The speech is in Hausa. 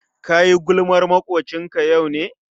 Kayi gulmar makwocinka yau ne?